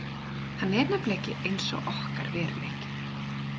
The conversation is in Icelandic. Hann er nefnilega ekki eins og okkar veruleiki.